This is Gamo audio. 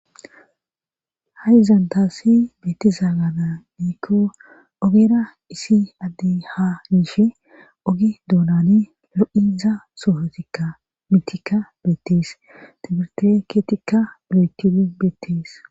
ha7izan tassi beetiza mala gidikko ogera isi adde ha yishe oge doonani lo7iza soohotikka mitika beettes timirte keetikka loyttidi beettees.